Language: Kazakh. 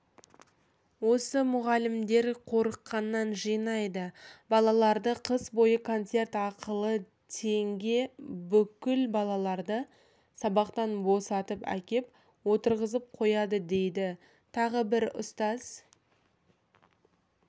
осы мұғалімдер қорыққаннан жинайды балаларды қыс бойы концерт ақылы теңге бүкіл балаларды сабақтан босатып әкеп отырғызып қояды дейді тағы бір ұстаз